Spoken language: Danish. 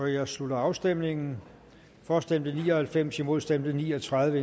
jeg slutter afstemningen for stemte ni og halvfems imod stemte ni og tredive